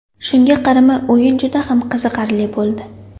Shunga qaramay o‘yin juda ham qiziqarli bo‘ldi.